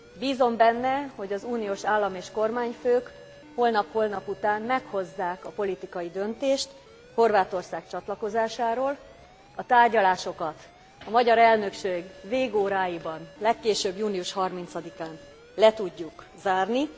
Bízom benne, hogy az uniós állam és kormányfők holnap, holnapután meghozzák a politikai döntést Horvátország csatlakozásáról, a tárgyalásokat a magyar elnökség végóráiban, legkésőbb június 30 án le tudjuk zárni.